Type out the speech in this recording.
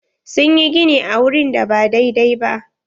Sun yi gini a wurin da ba dai-dai ba.